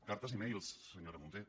cartes i e mails senyora munté